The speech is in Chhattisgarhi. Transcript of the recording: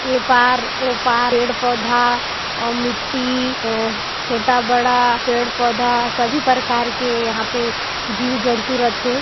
ए पार ओ पार पेड़-पौधा अऊ मिट्टी छोटा बड़ा पेड़-पौधा सभी प्रकार के यहाँ पे जीव जन्तु रईथे।